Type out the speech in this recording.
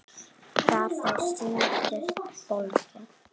Hvað þau sýndust bólgin!